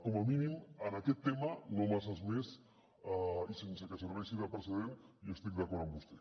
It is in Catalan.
com a mínim en aquest tema no masses més i sense que serveixi de precedent jo estic d’acord amb vostè